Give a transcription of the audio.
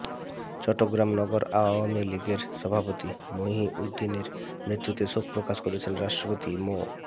চট্টগ্রাম নগর আওয়ামী লীগের সভাপতি মহিউদ্দিনের মৃত্যুতে শোক প্রকাশ করেছেন রাষ্ট্রপতি মো